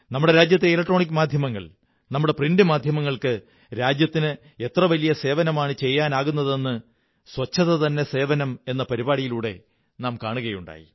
നമ്മുടെ രാജ്യത്തെ ഇലക്ട്രോണിക് മാധ്യമങ്ങള്ക്ക് നമ്മുടെ അച്ചടി മാധ്യമങ്ങള്ക്ക്ജ രാജ്യത്തിന് എത്ര വലിയ സേവനമാണു ചെയ്യുനാകുന്നതെന്ന് ശുചിത്വം തന്നെ സേവനം എന്ന പരിപാടിയിലൂടെ നാം കാണുകയുണ്ടായി